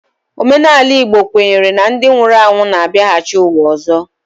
Omenala Igbo kwenyere na ndị nwụrụ anwụ na-abiaghachi uwa ọzọ